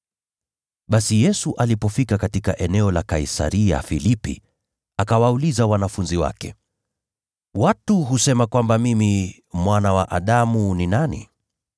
Basi Yesu alipofika katika eneo la Kaisaria-Filipi, akawauliza wanafunzi wake, “Watu husema kwamba mimi Mwana wa Adamu ni nani?”